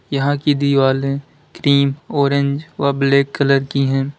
यहां की दीवाले क्रीम ऑरेंज व ब्लैक कलर की है।